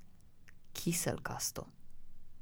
Kiselkasto.